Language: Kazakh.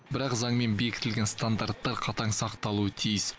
бірақ заңмен бекітілген стандарттар қатаң сақталуы тиіс